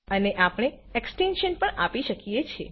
અને આપણે એક્સટેન્શન પણ આપી શકીએ છે